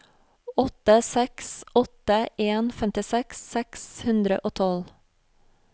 åtte seks åtte en femtiseks seks hundre og tolv